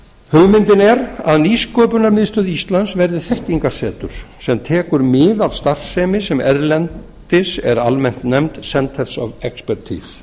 hugmyndin er að nýsköpunarmiðstöðvar verði þekkingarsetur sem tekur mið af starfsemi sem erlendis er almennt nefnd centers of expertise